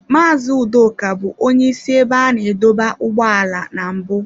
Mazị Udoka bụ onye isi ebe a na-adọba ụgbọala na mbụ.